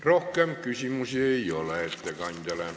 Rohkem ettekandjale küsimusi ei ole.